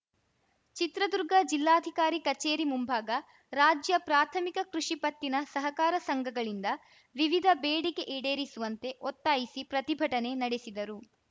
ಚಿತ್ರದುರ್ಗ ಜಿಲ್ಲಾಧಿಕಾರಿ ಕಚೇರಿ ಮುಂಭಾಗ ರಾಜ್ಯ ಪ್ರಾಥಮಿಕ ಕೃಷಿ ಪತ್ತಿನ ಸಹಕಾರ ಸಂಘಗಳಿಂದ ವಿವಿಧ ಬೆಡಿಕೆ ಈಡೇರಿಸುವಂತೆ ಒತ್ತಾಯಿಸಿ ಪ್ರತಿಭಟನೆ ನಡೆಸಿದರು